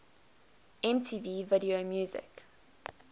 mtv video music